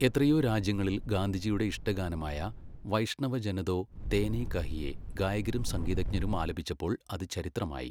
എത്രയോ രാജ്യങ്ങളിൽ ഗാന്ധിജിയുടെ ഇഷ്ടഗാനമായ വൈഷ്ണവ ജന തോ തേനേ കഹിയേ ഗായകരും സംഗീതജ്ഞരും ആലപിച്ചപ്പോൾ അത് ചരിത്രമായി.